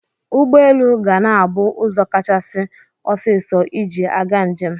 Ụgbọelu ga na-abụ ụzọ kachasị ọsiisọ iji aga njem.